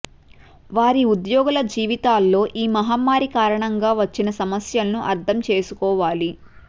వారి ఉద్యోగుల జీవితాల్లో ఈ మహమ్మారి కారణం గా వచ్చిన సమస్యలను అర్ధం చేసుకోవాలి